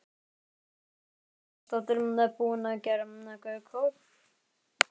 Erla Björg Gunnarsdóttir: Búinn að gera góð kaup?